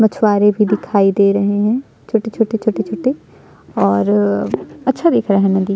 मछवारे भी दिखाई दे रहे है छोटे छोटे छोटे और अच्छा दिख रहा है नदी --